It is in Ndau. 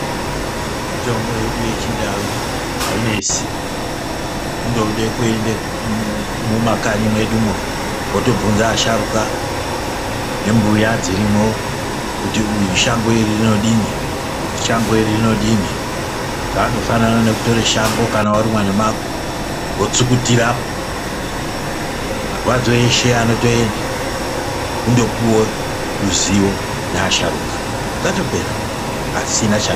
Mitombo yedu yechindau ainesi indode kuenda mumakanyi mwedumo wotobvunza asharuka nembuya dzirimo kuti uyu shango iri rinodini. zvandofanana nekutora shango kana warumwa nemago wotsukutirapo. Marwadzo eshe anotoenda wondopiwe ruzivo nasharukwa zvatopera pasina.